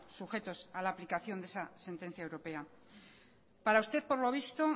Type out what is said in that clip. sujetos a la aplicación de esa sentencia europea para usted por lo visto